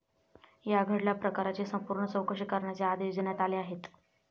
या घडल्या प्रकाराची संपूर्ण चौकशी करण्याचे आदेश देण्यात आले आहेत.